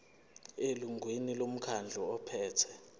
elungwini lomkhandlu ophethe